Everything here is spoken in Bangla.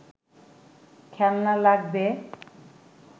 খেলনা লাগবে